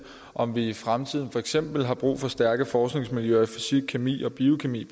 om vi i fremtiden for eksempel har brug for stærke forskningsmiljøer i fysik kemi og biokemi